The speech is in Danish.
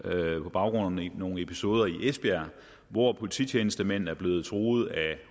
fra nogle episoder i esbjerg hvor polititjenestemænd er blevet truet af